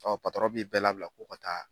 bi bɛɛ labila k'u ka taa